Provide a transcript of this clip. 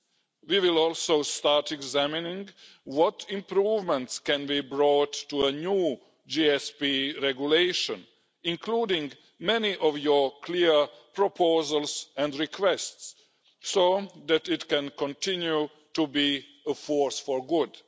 We will also start examining what improvements can be brought to a new GSP Regulation, including many of your clear proposals and requests, so that it can continue to be a force for good.